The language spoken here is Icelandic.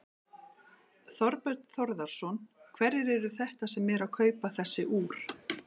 Þorbjörn Þórðarson: Hverjir eru þetta sem eru að kaupa þessi úr?